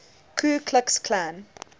ku klux klan